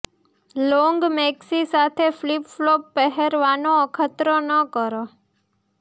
long maxi સાથે flip flop પહેરવાનો અખતરો ન કરવો